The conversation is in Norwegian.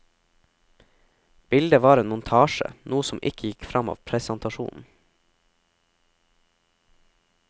Bildet var en montasje, noe som ikke gikk frem av presentasjonen.